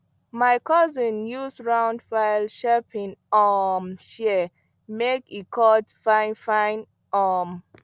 my cousin use round file sharpen um shears make e cut finefine um